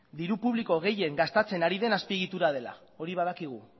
diru publiko gehien gastatzen ari den azpiegitura dela hori badakigu